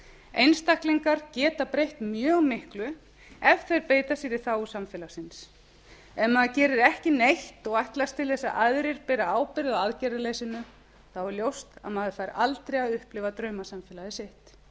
einstaklingar geta breytt mjög miklu ef þeir beita sér í þágu samfélaginu ef maður gerir ekki neitt og ætlast til þess að aðrir beri ábyrgð á aðgerðaleysinu er ljóst að maður fær aldrei að upplifa draumasamfélagið sitt enn hefur